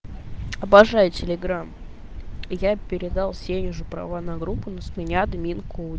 обожаю телеграмм я передал сей уже права на группу но с меня админку